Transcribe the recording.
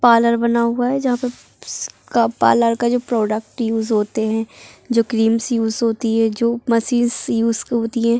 parlour बना हुआ हे जहाँ पे स-- का पालर का जो प्रोडक्ट यूज़ होतें हें जो क्रीम्स यूज़ होती हैं जो मसीन्स यूज़ होतीं हैं |